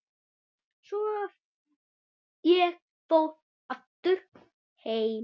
Svo ég fór aftur heim.